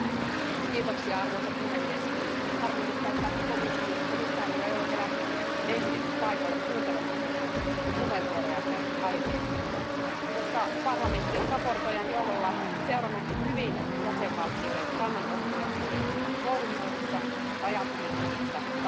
Arvoisa puhemies, harmillista, että komission jäsen ei ole vielä ehtinyt paikalle kuuntelemaan meidän puheenvuorojamme aiheesta, koska parlamentti on esittelijän johdolla seurannut hyvin jäsenvaltioiden kannanottoja sosiaaliturvan koordinointiin rajat ylittävissä tapauksissa.